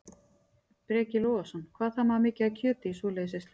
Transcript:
Breki Logason: Hvað þarf maður mikið af kjöti í svoleiðis veislu?